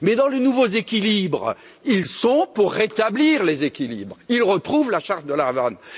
Mais dans les nouveaux équilibres, ils sont pour rétablir les équilibres, ils retrouvent la charte de La Havane.